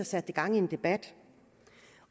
satte det gang i en debat